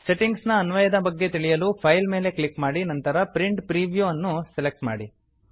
settings ನ ಅನ್ವಯದ ಬಗ್ಗೆ ತಿಳಿಯಲು ಫೈಲ್ ಮೇಲೆ ಕ್ಲಿಕ್ ಮಾಡಿ ನಂತರ ಪ್ರಿಂಟ್ ಪ್ರಿವ್ಯೂ ಪ್ರಿಂಟ್ ಪ್ರಿವ್ಯೂ ಅನ್ನು ಸೆಲೆಕ್ಟ್ ಮಾಡಿ